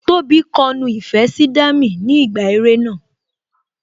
Tóbi kọ nu ìfẹ́ sí Dami ni ìgbà eré náà